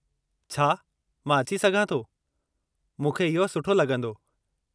छा मां अची सघां थो? मूंखे इहो सुठो लॻंदो।